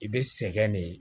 I bɛ sɛgɛn de